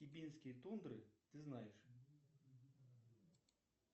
хибинские тундры ты знаешь